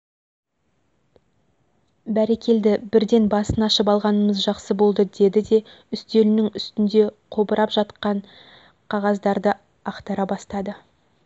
бәрекелді бірден басын ашып алғанымыз жақсы болды деді де үстелінің үстінде қобырап жатқан жатқан қағаздарды ақтара бастады